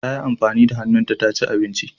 Tayi amfani da hannunta taci abinci.